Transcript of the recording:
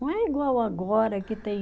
Não é igual agora que tem